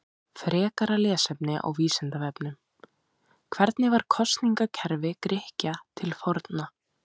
Frekara lesefni á Vísindavefnum: Hvernig var kosningakerfi Grikkja til forna?